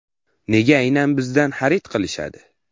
Nega aynan bizdan xarid qilishadi?